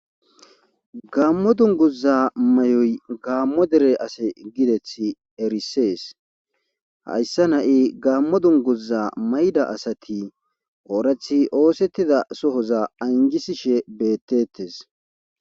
Gammo dunguza may7oy gaammo dere ase gideth erisees hayssa na7i gaammo dunguza mayda asati oorathi oosettida sohoza anjisishe beettettes.